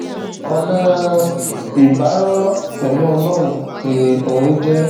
ọnà ìbárọrọ pẹlú ọlọrun ni orin jẹ